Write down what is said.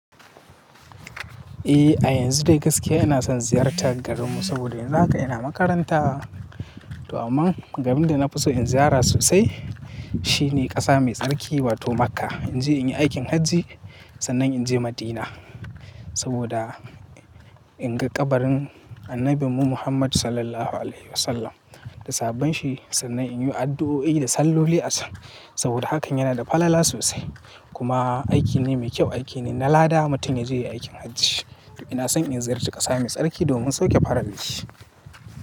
Eh, a yanzu da gaskiya ina son ziyartar garinmu saboda yanzu haka ina makaranta. To amma garin da na fi so in ziyara sosai shi ne ƙasa mai tsarki wato Makkah. In je in yi aikin hajji sannan in je Madina saboda in ga kabarin Annabin mu Muhammad Sallallahu Alaihi Wasallam da sahabban shi sannan in yi addu'o'i da salloli a can saboda hakan yana da falala sosai. Kuma aiki ne mai kyau, aiki ne na lada mutum yaje yayi aikin hajji. Ina son in ziyarci ƙasa mai tsarki domin sauke farali.